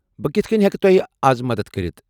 بہٕ کِتھہٕ کٔنہِ ہیٚکہٕ تۄہہ از مدتھ کٔرِتھ؟